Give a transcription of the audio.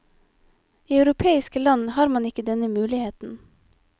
I europeiske land har man ikke denne muligheten.